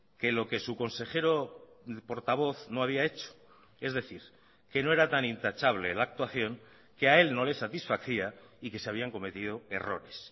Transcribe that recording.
que lo que su consejero portavoz no había hecho es decir que no era tan intachable la actuación que a él no le satisfacía y que se habían cometido errores